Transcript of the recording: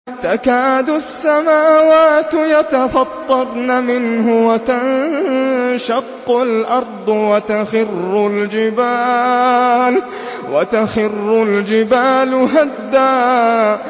تَكَادُ السَّمَاوَاتُ يَتَفَطَّرْنَ مِنْهُ وَتَنشَقُّ الْأَرْضُ وَتَخِرُّ الْجِبَالُ هَدًّا